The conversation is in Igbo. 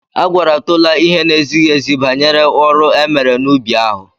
A gwara Tola ihe na-ezighị ezi banyere ọrụ e mere n'ubi ahụ.